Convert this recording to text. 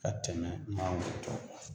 Ka tɛmɛ mangoro tɔw kan